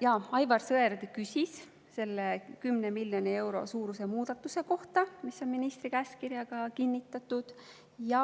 Jaa, Aivar Sõerd küsis selle 10 miljoni euro suuruse muudatuse kohta, mis on ministri käskkirjaga kinnitatud, ja